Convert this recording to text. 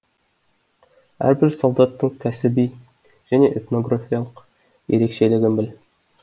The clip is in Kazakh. әрбір солдаттың кәсіби және этнографиялық ерекшелігін біл